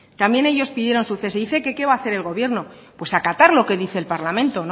también ellos pidieron su cese qué va a hacer el gobierno pues acatar lo que dice el parlamento